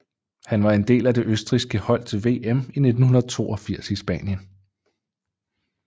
Han var en del af det østrigske hold til VM i 1982 i Spanien